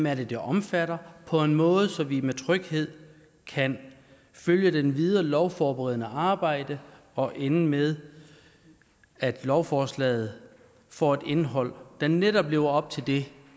er det omfatter på en måde så vi med tryghed kan følge det videre lovforberedende arbejde og ende med at lovforslaget får et indhold der netop lever op til det